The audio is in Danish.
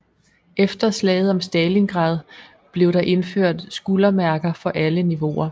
Efter slaget om Stalingrad blev der indført skuldermærker for alle niveauer